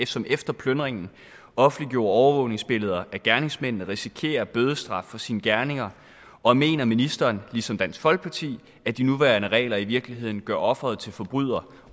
som efter plyndringen offentliggjorde overvågningsbilleder af gerningsmændene risikerer bødestraf for sine gerninger og mener ministeren ligesom dansk folkeparti at de nuværende regler i virkeligheden gør offeret til forbryder